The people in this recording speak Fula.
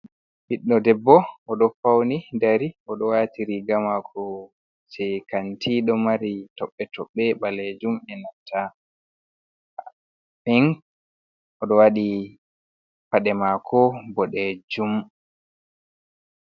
Ɓiiɗɗo debbo oɗo fauni dari oɗo waati riga mako je kanti ɗo mari toɓɓe toɓɓe be ɓalejum enanta pink oɗo wadi pade mako.